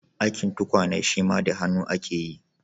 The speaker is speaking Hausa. Aikin tukwane shima da hannu ake yi.